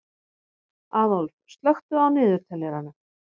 Aðólf, slökktu á niðurteljaranum.